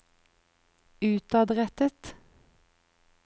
utadrettet